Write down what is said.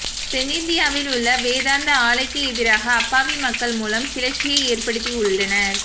தென்னிந்தியாவில் உள்ள வேதாந்தா ஆலைக்கு எதிராக அப்பாவி மக்கள் மூலம் கிளச்சியை ஏற்படுத்தி உள்ளனர்